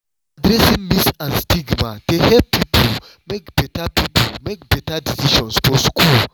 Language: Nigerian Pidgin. addressing myths and stigma dey help pipo make better pipo make better decisions for school.